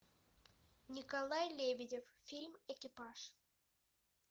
николай лебедев фильм экипаж